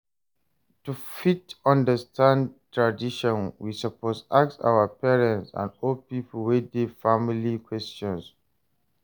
To fit understand tradition we suppose ask our parents and old pipo wey de di family questions